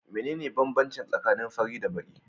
Mene ne banbanci tsakanin fari da baki?